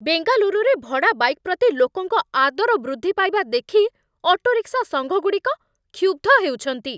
ବେଙ୍ଗାଲୁରୁରେ ଭଡ଼ା ବାଇକ୍ ପ୍ରତି ଲୋକଙ୍କ ଆଦର ବୃଦ୍ଧି ପାଇବା ଦେଖି ଅଟୋରିକ୍ସା ସଂଘଗୁଡ଼ିକ କ୍ଷୁବ୍ଧ ହେଉଛନ୍ତି।